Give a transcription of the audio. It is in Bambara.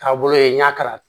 Taabolo ye n y'a kala